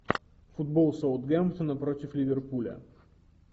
футбол саутгемптона против ливерпуля